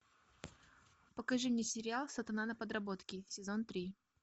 покажи мне сериал сатана на подработке сезон три